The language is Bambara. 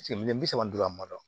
miliyɔn bi saba ni duuru a ma